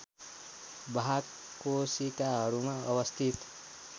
वाहक कोशिकाहरूमा अवस्थित